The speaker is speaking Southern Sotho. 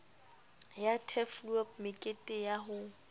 ya turfloop mekete ya ho